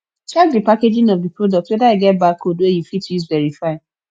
check di packaging of the product whether e get barcode wey you fit use verify